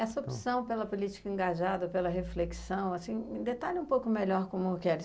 Essa opção pela política engajada, pela reflexão, assim, detalhe um pouco melhor como que era.